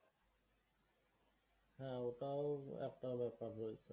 হ্যাঁ, এটাও একটা ব্যাপার হয়েছে।